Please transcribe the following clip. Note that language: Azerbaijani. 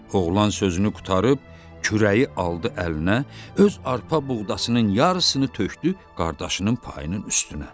Oğlan sözünü qurtarıb, kürəyi aldı əlinə, öz arpa buğdasının yarısını tökdü qardaşının payının üstünə.